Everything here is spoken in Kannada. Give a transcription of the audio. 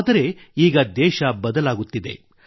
ಆದರೆ ಈಗ ದೇಶ ಬದಲಾಗುತ್ತಿದೆ